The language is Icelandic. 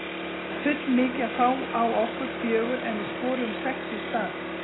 Það er full mikið að fá á okkur fjögur en við skoruðum sex í staðinn.